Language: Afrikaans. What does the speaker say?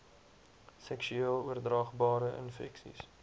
seksueel oordraagbare infeksies